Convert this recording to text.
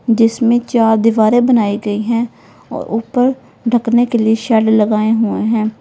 जिसमें चार दीवारें बनाई गई है और ऊपर ढकने के लिए शेड लगाए हुए हैं।